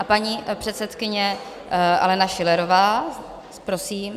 A paní předsedkyně Alena Schillerová, prosím.